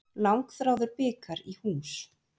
Langþráður bikar í hús